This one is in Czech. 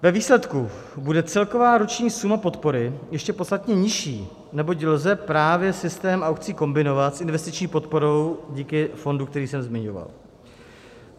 Ve výsledku bude celková roční suma podpory ještě podstatně nižší, neboť lze právě systém aukcí kombinovat s investiční podporou díky fondu, který jsem zmiňoval.